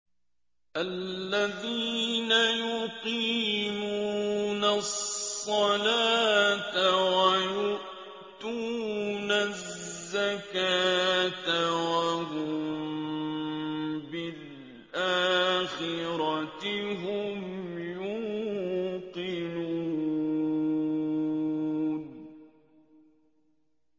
الَّذِينَ يُقِيمُونَ الصَّلَاةَ وَيُؤْتُونَ الزَّكَاةَ وَهُم بِالْآخِرَةِ هُمْ يُوقِنُونَ